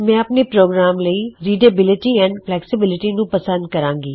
ਮੈਂ ਆਪਣੇ ਪ੍ਰੋਗਰਾਮ ਲਈ ਰਿਡੇਬਿਲਟਿ ਅਤੇ ਫਲੈੱਕਸੇਬਿਲਟਿ ਨੂੰ ਪਸੰਦ ਕਰਾਂਗਾ